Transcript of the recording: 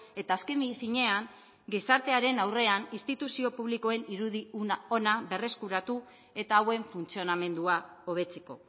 eta azken finean gizartearen aurrean instituzio publikoen irudi ona berreskuratu eta hauen funtzionamendua hobetzeko